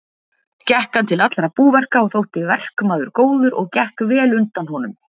Gekk hann til allra búverka og þótti verkmaður góður og gekk vel undan honum.